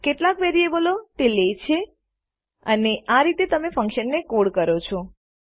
કેટલા વેરીએબલો તે લે છે અને આ રીતે તમે ફન્કશનને કોડ કરો છો